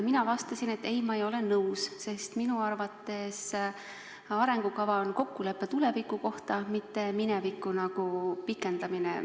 Mina vastasin, et mina ei ole nõus, sest minu arvates arengukava on kokkulepe tuleviku kohta, mitte mineviku pikendamine.